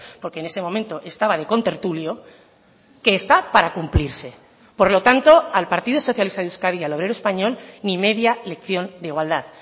porque en ese momento estaba de contertulio que está para cumplirse por lo tanto al partido socialista de euskadi y al obrero español ni media lección de igualdad